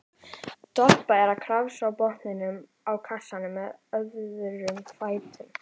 Doppa er að krafsa í botninn á kassanum með öðrum fætinum.